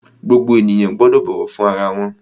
Gbogbo ènìyàn gbọ́dọ̀ bọ̀wọ̀ fún ara wọn!